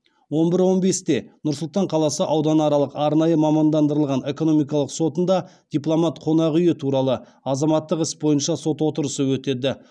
он бір он бесте нұр сұлтан қаласы ауданаралық арнайы мамандандырылған экономикалық сотында дипломат қонақ үйі туралы азаматтық іс бойынша сот отырысы өтеді